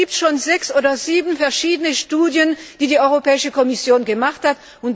Es gibt schon sechs oder sieben verschiedene Studien, die die Europäische Kommission durchgeführt hat.